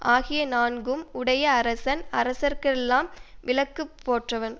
ஆகிய நான்கும் உடைய அரசன் அரசர்க்கெல்லாம் விளக்கு போன்றவன்